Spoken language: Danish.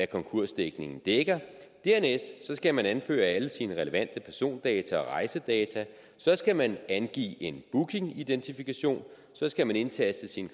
konkursdækningen dækker dernæst skal man anføre alle sine relevante persondata og rejsedata så skal man angive en bookingidentifikation så skal man indtaste sine